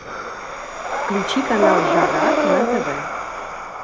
включи канал жара на тв